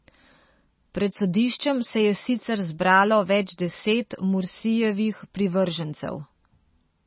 Pred sodiščem se je sicer zbralo več deset Mursijevih privržencev.